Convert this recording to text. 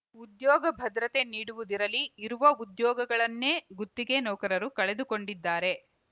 ಉದ್ಯೋಗ ಭದ್ರತೆ ನೀಡುವುದಿರಲಿ ಇರುವ ಉದ್ಯೋಗಗಳನ್ನೇ ಗುತ್ತಿಗೆ ನೌಕರರು ಕಳೆದುಕೊಂಡಿದ್ದಾರೆ